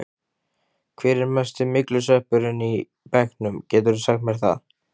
Hver er mesti myglusveppurinn í bekknum, geturðu sagt mér það?